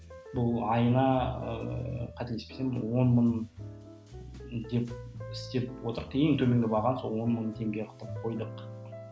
бұл айына ыыы кателеспесем бір он мың деп істеп отырық ең төменгі бағаны сол он мың теңге қылып қойдық